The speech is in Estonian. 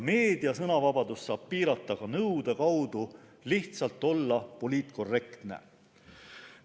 Meedia sõnavabadust saab piirata ka lihtsalt nõude kaudu olla poliitkorrektne.